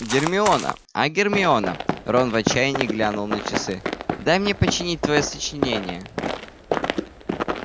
гермиона а гермиона рон в отчаянии глянул на часы дай мне починить твоё сочинение